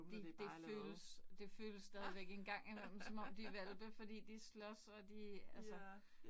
Det det føles det føles stadigvæk en gang imellem som om de hvalpe fordi de slås og de altså